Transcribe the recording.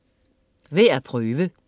Værd at prøve